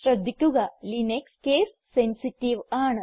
ശ്രദ്ധിക്കുക Linux case sensitive ആണ്